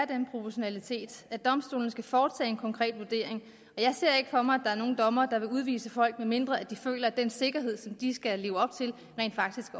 den proportionalitet at domstolene skal foretage en konkret vurdering jeg ser ikke for mig at der er nogen dommere der vil udvise folk medmindre de føler at den sikkerhed som de skal leve op til rent faktisk